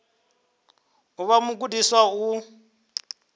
u vha mugudisi wa u